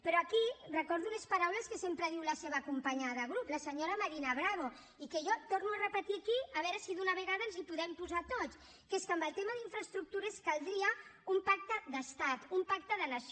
però aquí recordo unes paraules que sempre diu la seva companya de grup la senyora marina bravo i que jo torno a repetir aquí a veure si d’una vegada ens hi podem posar tots que és que en el tema d’infraestructures caldria un pacte d’estat un pacte de nació